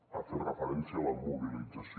ha fet referència a la mobilització